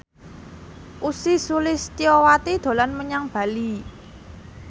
Ussy Sulistyawati dolan menyang Bali